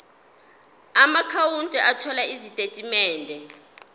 amaakhawunti othola izitatimende